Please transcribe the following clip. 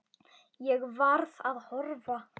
Ég varð að horfa.